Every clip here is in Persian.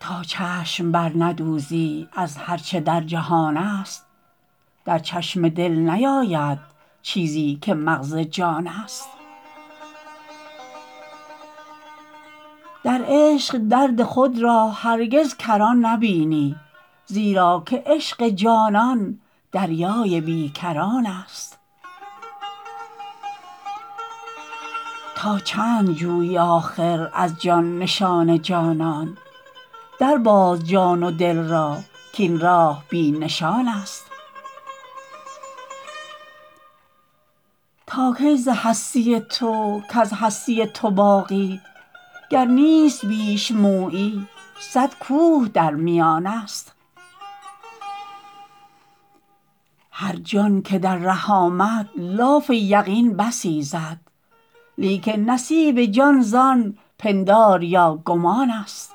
تا چشم برندوزی از هر چه در جهان است در چشم دل نیاید چیزی که مغز جان است در عشق درد خود را هرگز کران نبینی زیرا که عشق جانان دریای بی کران است تا چند جویی آخر از جان نشان جانان در باز جان و دل را کین راه بی نشان است تا کی ز هستی تو کز هستی تو باقی گر نیست بیش مویی صد کوه در میان است هر جان که در ره آمد لاف یقین بسی زد لیکن نصیب جان زان پندار یا گمان است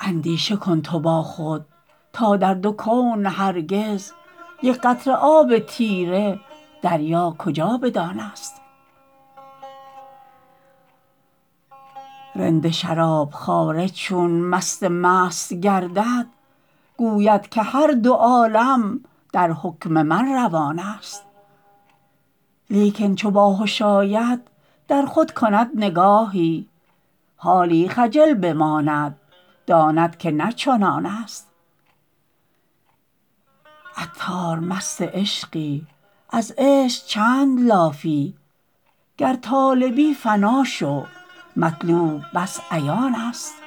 اندیشه کن تو با خود تا در دو کون هرگز یک قطره آب تیره دریا کجا بدان است رند شراب خواره چون مست مست گردد گوید که هر دو عالم در حکم من روان است لیکن چو باهش آید در خود کند نگاهی حالی خجل بماند داند که نه چنان است عطار مست عشقی از عشق چند لافی گر طالبی فنا شو مطلوب بس عیان است